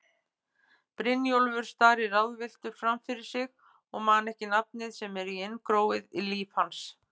Brynjólfur starir ráðvilltur framfyrir sig og man ekki nafnið sem er inngróið í líf hans.